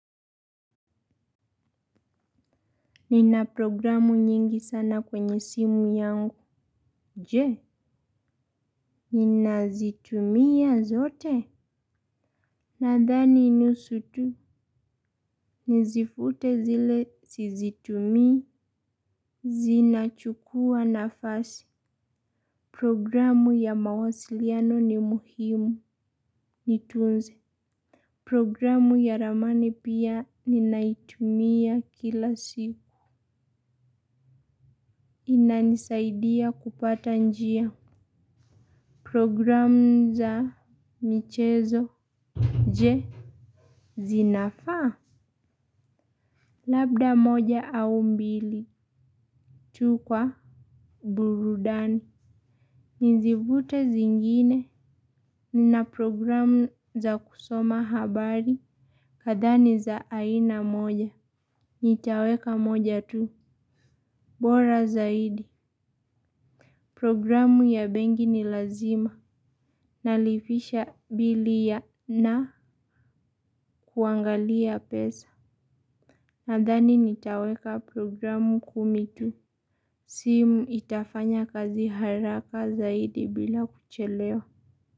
Nina programu nyingi sana kwenye simu yangu. Je, nina zitumia zote? Nadhani nusu tu. Nizifute zile sizitumi. Zina chukua nafasi. Programu ya mawasiliano ni muhimu. Nitunze. Programu ya ramani pia ninaitumia kila siku. Inanisaidia kupata njia. Programu za michezo je, zinafaa? Labda moja au mbili tu kwa burudani. Nizivute zingine. Na programu za kusoma habari kadhaa ni za aina moja. Nitaweka moja tu. Bora zaidi. Programu ya benki ni lazima. Nalipisha bili na kuangalia pesa. Nadhani nitaweka programu kumi tu. Simu itafanya kazi haraka zaidi bila kuchelewa.